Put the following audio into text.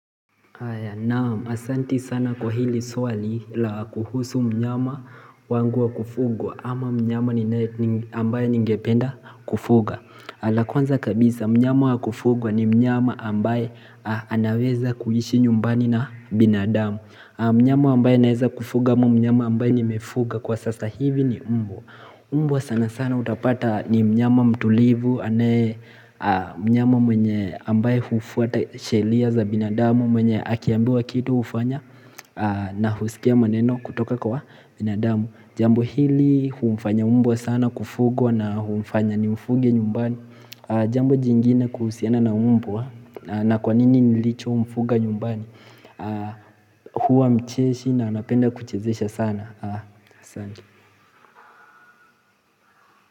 Naam, asanti sana kwa hili swali la kuhusu mnyama wangu wa kufugwa ama mnyama ni ambaye ningependa kufuga la kwanza kabisa, mnyama wa kufugwa ni mnyama ambaye anaweza kuhishi nyumbani na binadamu Mnyama ambaye naeza kufuga ama mnyama ambaye nimefuga kwa sasa hivi ni mbwa mbwa sana sana utapata ni mnyama mtulivu anaye mnyama mwenye ambaye hufuata shelia za binadamu mwenye akiambiwa kitu ufanya na husikia maneno kutoka kwa binadamu Jambo hili humfanya mbwa sana kufugwa na hufanya ni mfuge nyumbani Jambo jingine kuhusiana na mbwa na kwa nini nilicho mfuga nyumbani huwa mcheshi na anapenda kuchezesha sana.